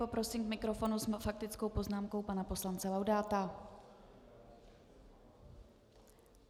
Poprosím k mikrofonu s faktickou poznámkou pana poslance Laudáta.